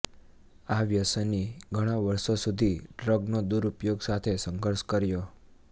આ વ્યસની ઘણા વર્ષો સુધી ડ્રગનો દુરુપયોગ સાથે સંઘર્ષ કર્યો